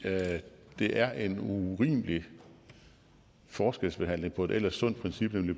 det er en urimelig forskelsbehandling i forbindelse med et ellers sundt princip nemlig